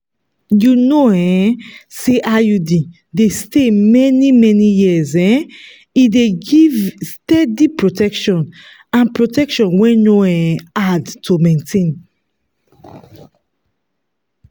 you know um say iud dey stay many many years um e dey give steady protection and protection wey no um hard to maintain.